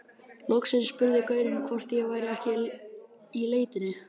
Loksins spurði gaurinn hvort ég væri ekki í leitinni.